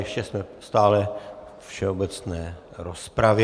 Ještě jsme stále ve všeobecné rozpravě.